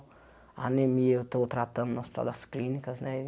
A anemia eu estou tratando nas todas as clínicas, né?